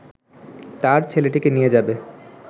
তার ছেলেটিকে নিয়ে যাবে